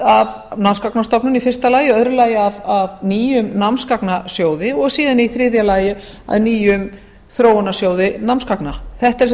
af námsgagnastofnun í fyrsta lagi í öðru lagi að nýjum námsgagnasjóði og síðan í þriðja lagi að nýjum þróunarsjóði námsgagna þetta eru sem